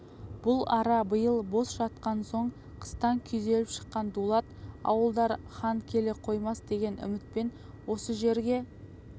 бұл ара биыл бос жатқан соң қыстан күйзеліп шыққан дулат ауылдары хан келе қоймас деген үмітпен осы жерге